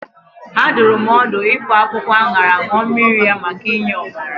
A dụrụ m ọdụ ifọ akwụkwọ aṅara ṅụọ mmiri ya maka inye ọbara.